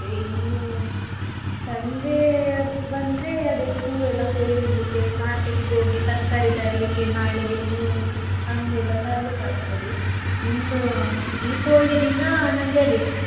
ಇನ್ನೂ ಸಂಜೆ ಬಂದ್ರೆ ಅದೇ ಹೂವೆಲ್ಲ ಕೊಯ್ದು ಇಡ್ಲಿಕ್ಕೆ market ಗೆ ಹೋಗಿ ತರ್ಕಾರಿ ತರ್ಲಿಕ್ಕೆ ನಾಳೆಗೆ ಹೂವು ಹಣ್ಣುಯೆಲ್ಲ ತರ್ಲಿಕ್ಕೆ ಆಗ್ತದೆ ಇನ್ನು Deepavali ದಿನ ನಮ್ಗೆ ಅದೇ.